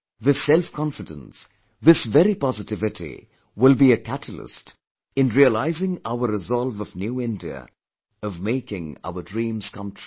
This self confidence, this very positivity will by a catalyst in realising our resolve of New India, of making our dream come true